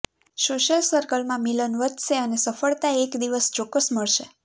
social સર્કલમાં મિલન વધશે અને સફળતા એક દિવસ ચોક્કસ મળશે